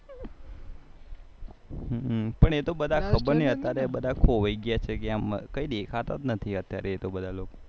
પણ એ તો બધા ખબર નઈ અત્યારે એ બધા ખબર નઈ ખોવાઈ ગયા છે કે એમ કઈ દેખાતા જ નથી અત્યારે એ તો બધા